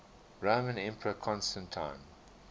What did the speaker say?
roman emperor constantine